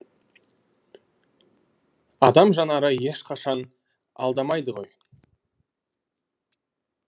адам жанары ешқашан алдамайды ғой